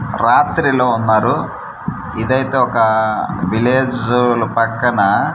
రాత్రిలో ఉన్నారు ఇదైతే ఒక విలేజుల్ పక్కన--